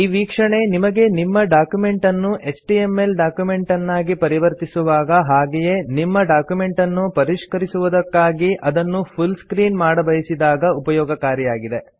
ಈ ವೀಕ್ಷಣೆ ನಿಮಗೆ ನಿಮ್ಮ ಡಾಕ್ಯುಮೆಂಟ್ ಅನ್ನು ಎಚ್ಟಿಎಂಎಲ್ ಡಾಕ್ಯುಮೆಂಟನ್ನಾಗಿ ಪರಿವರ್ತಿಸುವಾಗ ಹಾಗೆಯೇ ನಿಮ್ಮ ಡಾಕ್ಯುಮೆಂಟನ್ನು ಪರಿಷ್ಕರಿಸುವುದಕ್ಕಾಗಿ ಅದನ್ನು ಫುಲ್ ಸ್ಕ್ರೀನ್ ಮಾಡಬಯಿಸಿದಾಗ ಉಪಯೋಗಕಾರಿಯಾಗಿದೆ